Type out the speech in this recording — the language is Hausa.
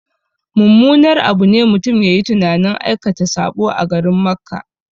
Mummunar abu ne mutum yayi tunanin aikata saɓo a garin Makka